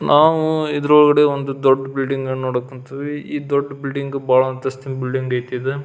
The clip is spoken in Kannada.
ನಾವು ಇದರ ಒಳಗಡೆ ಒಂದು ದೊಡ್ಡ ಬಿಲ್ಡಿಂಗ್ ನ್ನು ನೋಡಕ್ ಕುಂತೀವಿ ಈ ದೊಡ್ಡ ಬಿಲ್ಡಿಂಗ್ ಬಾಳ ಅಂತಸ್ತಿನ ಬಿಲ್ಡಿಂಗ್ ಐತಿ ಇದು.